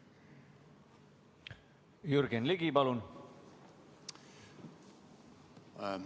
Jürgen Ligi, palun!